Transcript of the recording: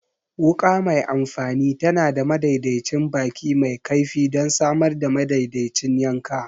Wuka mai amfani tana da madaidaicin baki mai kaifi don samar da madaidaicin yanka.